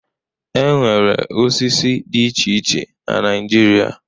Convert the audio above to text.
E nwere osisi dị iche iche na Naịjirịa.